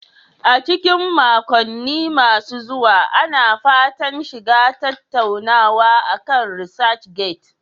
A cikin makonni masu zuwa, Ina fatan shiga tattaunawa akan ResearchGate.